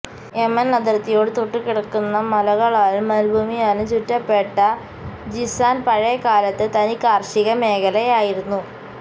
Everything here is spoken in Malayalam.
യെമന് അതിര്ത്തിയോട് തൊട്ടു കിടക്കുന്ന മലകളാലും മരുഭൂമിയാലും ചുറ്റപ്പെട്ട ജിസാന് പഴയ കാലത്ത് തനി കാര്ഷിക മേഖലയായിരുന്നു